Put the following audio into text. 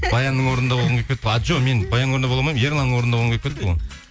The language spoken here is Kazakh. баянның орнында болғым келіп кетті ғой а жоқ мен баянның орнында бола алмаймын ерланның орынында болғым келіп кетті ғой